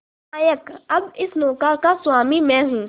नायक अब इस नौका का स्वामी मैं हूं